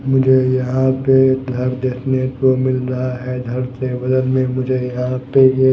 मुझे यहां पे घर देखने को मिल रहा है घर के बगल में मुझे यहां पे ये--